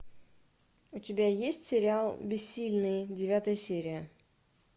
у тебя есть сериал бессильные девятая серия